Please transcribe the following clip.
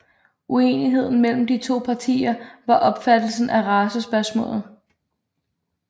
Uenigheden mellem de to partier var opfattelsen af racespørgsmålet